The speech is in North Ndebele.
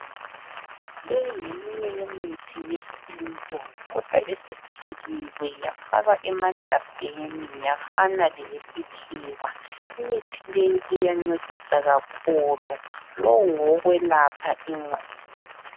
Le ngeminye yemithi yesintu, kodwa esiphekiwe yafakwa emagabheni yafana leyesikhiwa. Imithi le iyancedisa kakhulu. Lo ngowokwelapha ingqondo.